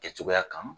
Kɛ cogoya kan